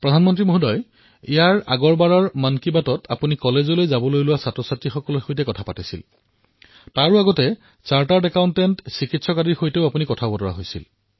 প্ৰধানমন্ত্ৰী মহোদয় যোৱাবাৰৰ মন কী বাতত আপুনি কলেজলৈ যোৱা ছাত্ৰছাত্ৰীসকলৰ কথা কৈছিল আৰু তাৰ পূৰ্বে আমি চিকিৎসক চাৰ্টাৰ্ড একাউণ্টেণ্টৰ কথাও কৈছিল